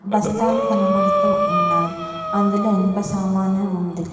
బస్తాలు కనపడుతూ ఉన్నాయి అందులో ఇనుప సామాను ఉంది.